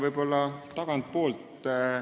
Ma alustan tagantpoolt.